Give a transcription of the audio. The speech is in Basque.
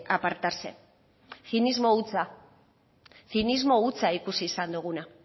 apartarse zinismo hutsa zinismo hutsa ikusi izan duguna